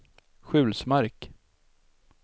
Sjulsmark